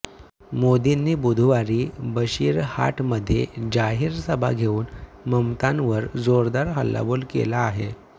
मोदींनी बुधवारी बशिरहाटमध्ये जाहीर सभा घेऊन ममतांवर जोरदार हल्लाबोल केला आहे